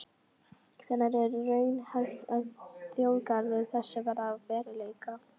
Hvenær er raunhæft að þjóðgarður þessi verði að veruleika?